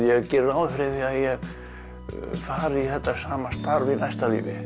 ég geri ráð fyrir að ég fari í þetta sama starf í næsta lífi